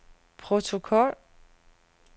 protokol